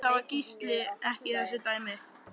En það var Gísli ekki í þessu dæmi.